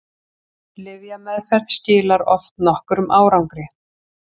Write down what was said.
lyfjameðferð skilar oft nokkrum árangri